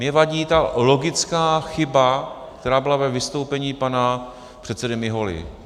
Mně vadí ta logická chyba, která byla ve vystoupení pana předsedy Miholy.